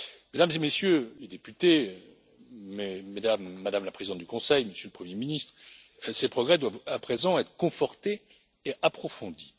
Mesdames et Messieurs les députés, Madame la Présidente du Conseil, Monsieur le Premier ministre, ces progrès doivent à présent être confortés et approfondis.